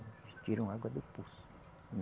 Eles tiram a água do poço.